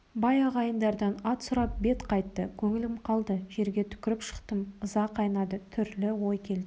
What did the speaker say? бай ағайындардан ат сұрап бет қайтты көңіл қалды жерге түкіріп шықтым ыза қайнады түрлі ой келді